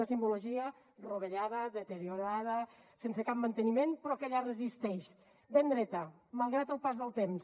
una simbologia rovellada deteriorada sense cap manteniment però que allà resisteix ben dreta malgrat el pas del temps